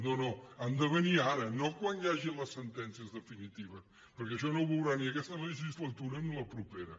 no no han de venir ara no quan hi hagi les sentències definitives perquè això no ho veurà ni aquesta legislatura ni la propera